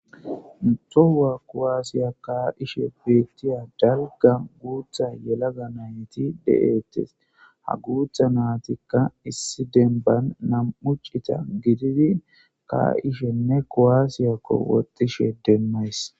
Tohuwa kuwasiya ka'ishe betiya dalga guta yelaga nayti de'etes ha guta natika issi demban nam'u c'ita gididi ka'ishene kuwasiyako wodhishe demays.